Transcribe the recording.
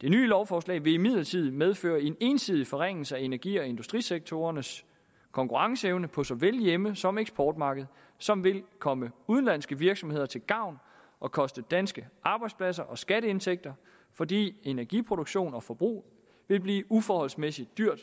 det nye lovforslag vil imidlertid medføre en ensidig forringelse af energi og industrisektorernes konkurrenceevne på såvel hjemme som eksportmarkedet som vil komme udenlandske virksomheder til gavn og koste danske arbejdspladser og skatteindtægter fordi energiproduktion og forbrug vil blive uforholdsmæssigt dyrt